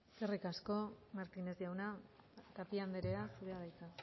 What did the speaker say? eskerrik asko martinez jauna tapia andrea zurea da hitza